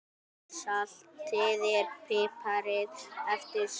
Saltið og piprið eftir smekk.